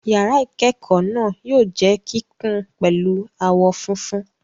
Yàrá ìkẹ́kọ̀ọ́ náà yóò jẹ́ kíkùn pẹ̀lú àwọ̀ funfun.